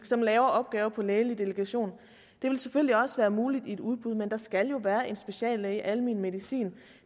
som laver opgaver på lægelig delegation det vil selvfølgelig også være muligt i et udbud men der skal jo være en speciallæge i almen medicin